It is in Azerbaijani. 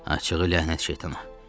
Açığı ləhnət şeytana.